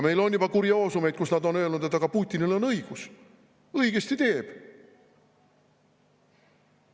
Meil on juba kurioosumeid, kui nad on öelnud, et aga Putinil on õigus, õigesti teeb.